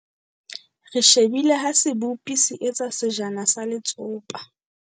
Re shebile ha sebopi se etsa sejana sa letsopa.